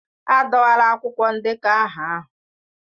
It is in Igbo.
Adọwala akwụkwọ ndekọ aha ahụ.